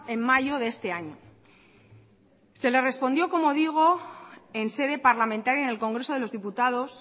en mayo de este año se le respondió como digo en sede parlamentaria en el congreso de los diputados